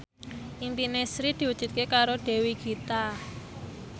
impine Sri diwujudke karo Dewi Gita